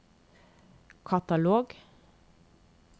katalog